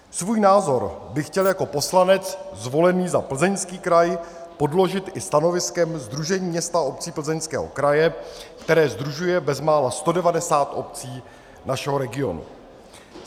Svůj názor bych chtěl jako poslanec zvolený za Plzeňský kraj podložit stanoviskem Sdružení měst a obcí Plzeňského kraje, které sdružuje bezmála 190 obcí našeho regionu.